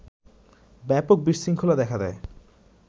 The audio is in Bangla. ব্যাপক বিশৃঙ্খলা দেখা দেয়